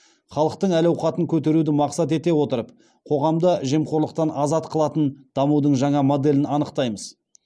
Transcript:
халықтың әл ауқатын көтеруді мақсат ете отырып қоғамды жемқорлықтан азат қылатын дамудың жаңа моделін анықтаймыз